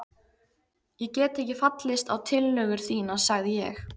Ég get ekki fallist á tillögur þínar sagði ég.